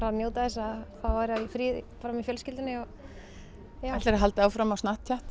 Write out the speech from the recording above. njóta þess að fá að vera í fríi með fjölskyldunni og já ætlarðu að halda áfram á